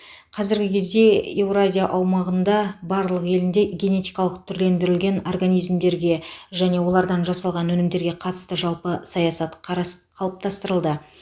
қазіргі кезде еуразия аумағында барлық елінде генетикалық түрлендірілген организмдерге және олардан жасалған өнімдерге қатысты жалпы саясат қарас қалыптастырылды